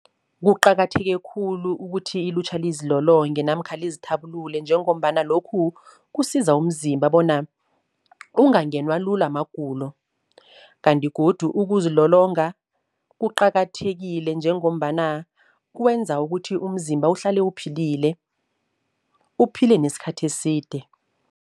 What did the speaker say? Kuqakatheke khulu ukuthi ilutjha lizilolonge namkha lizithabulule, njengombana lokhu kusiza umzimba bona ungangenwa lula magulo. Kanti godu ukuzilolonga kuqakathekile njengombana kwenza ukuthi umzimba uhlale uphilile, uphile nesikhathi eside.